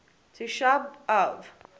tisha b av